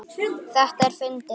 Þetta er fyndið.